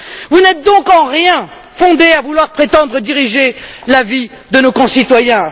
Vous n'êtes donc en rien fondé à vouloir prétendre diriger la vie de nos concitoyens.